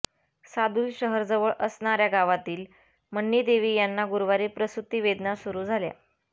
सादुलशहरजवळ असणाऱ्या गावातील मन्नीदेवी यांना गुरुवारी प्रसूती वेदना सुरू झाल्या